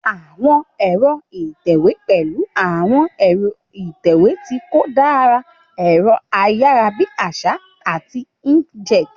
Àwọn ẹ̀rọ ìtẹ̀wé pẹ̀lú àwọn ẹ̀rọ ìtẹ̀wé tí kò dára, ẹ̀rọ ayárabíàṣá, àti inkjet.